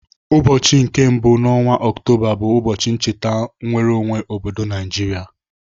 Ụbọchị nke mbụ n'ọnwa Ọktoba bụ ụbọchị ncheta nnwereonwe obodo Naijiria.